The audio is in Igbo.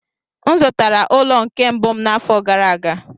M zụtara ụlọ nke mbụ m n'afọ gara aga.